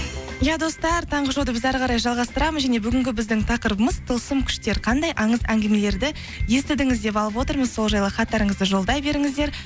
иә достар таңғы шоуды біз әрі қарай жалғастырамыз және бүгінгі біздің тақырыбымыз тылсым күштер қандай аңыз әңгімелерді естідіңіздер деп алып отырмыз сол жайлы хаттарыңызды жолдай беріңіздер